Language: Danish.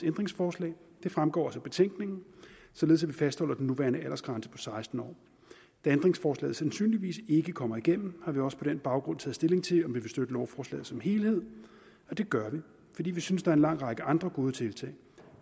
ændringsforslag det fremgår også af betænkningen således at vi fastholder den nuværende aldersgrænse på seksten år da ændringsforslaget sandsynligvis ikke kommer igennem har vi også på den baggrund taget stilling til om vi vil støtte lovforslaget som helhed og det gør vi fordi vi synes der er en lang række andre gode tiltag